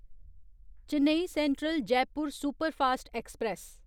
Chennai central Jaipur superfast express